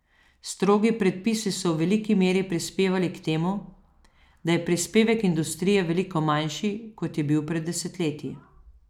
Strogi predpisi so v veliki meri prispevali k temu, da je prispevek industrije veliko manjši, kot je bil pred desetletji.